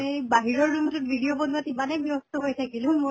ই বাহিৰৰ room তোত video বনোৱাত ইমানে ব্য়স্ত হৈ থাকিলো মোৰ